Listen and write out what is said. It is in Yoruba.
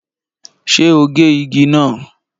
Ṣé o gé igi náà?